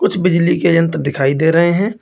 कुछ बिजली के यंत्र दिखाई दे रहे हैं।